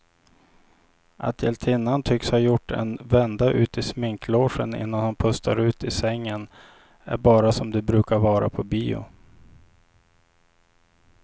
Att hjältinnan tycks ha gjort en vända ut i sminklogen innan hon pustar ut i sängen är bara som det brukar vara på bio.